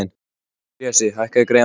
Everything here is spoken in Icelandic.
Bresi, hækkaðu í græjunum.